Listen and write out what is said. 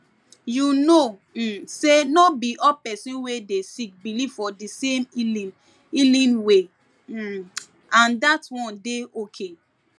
you know um say no be all person wey dey sick believe for di same healing healing way um and that one dey ok